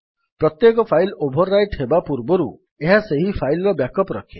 ପ୍ରତ୍ୟେକ file overwrite ହେବା ପୂର୍ବରୁ ଏହା ସେହି ଫାଇଲ୍ ର ବ୍ୟାକ୍ ଅପ୍ ରଖେ